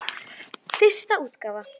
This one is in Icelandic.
Fyrsta útgáfa.